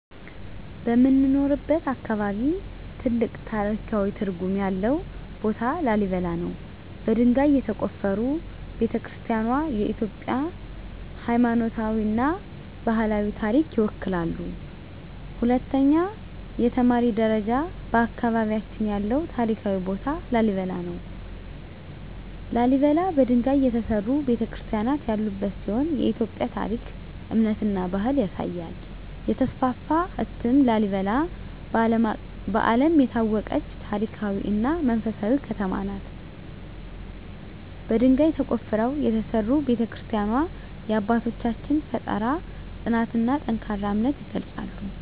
በምኖርበት አካባቢ ትልቅ ታሪካዊ ትርጉም ያለው ቦታ ላሊበላ ነው። በድንጋይ የተቆፈሩ ቤተ-ክርስቲያናትዋ የኢትዮጵያን ሃይማኖታዊና ባህላዊ ታሪክ ይወክላሉ። 2) የተማሪ ደረጃ በአካባቢያችን ያለው ታሪካዊ ቦታ ላሊበላ ነው። ላሊበላ በድንጋይ የተሠሩ ቤተ-ክርስቲያናት ያሉበት ሲሆን የኢትዮጵያን ታሪክ፣ እምነትና ባህል ያሳያል። 3) የተስፋፋ እትም ላሊበላ በዓለም የታወቀች ታሪካዊ እና መንፈሳዊ ከተማ ናት። በድንጋይ ተቆፍረው የተሠሩ ቤተ-ክርስቲያናትዋ የአባቶቻችንን ፍጠራ፣ ጽናትና ጠንካራ እምነት ይገልጻሉ።